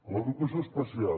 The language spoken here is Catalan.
l’educació especial